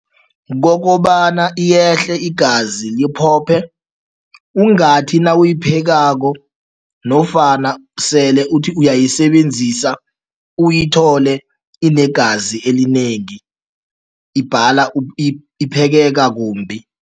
Kokobana iyehle igazi, liphophe. Ungathi nawuyiphekako nofana sele uthi uyayisebenzisa uyithole inegazi elinengi, ibhala iphekeka kumbi.